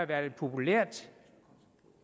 været populært